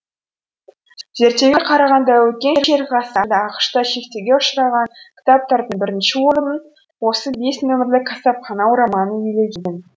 зерттеуге қарағанда өткен шерік ғасырда ақш та шектеуге ұшыраған кітаптардың бірінші орынын осы бес нөмірлі қасапхана романы иелеген